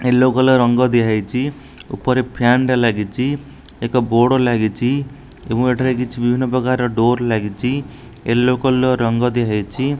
Yellow colour ରଙ୍ଗ ଦିଆହେଇଛି ଉପରେ ଫ୍ୟାନ୍ ଟେ ଲାଗିଛି ଏକ ବୋର୍ଡ଼ ଲାଗିଛି ଏବଂ ଏଠାରେ କିଛି ବିଭିନ୍ନ ପ୍ରକାର ଡୋର୍ ଲାଗିଛି ୟଲୋ କଲର୍ ରଙ୍ଗ ଦିଆହେଇଛି।